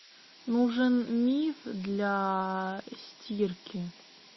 нужен миф для стирки